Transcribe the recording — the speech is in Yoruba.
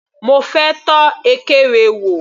Mo fẹ́ tọ́ ekere wò.